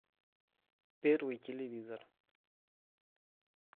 первый телевизор